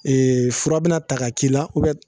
Ea fura bɛna ta k'a k'i la